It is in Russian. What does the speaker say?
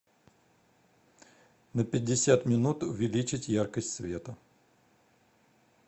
на пятьдесят минут увеличить яркость света